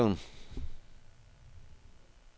Bergen